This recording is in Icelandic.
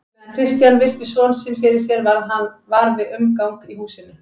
Á meðan Christian virti son sinn fyrir sér varð hann var við umgang í húsinu.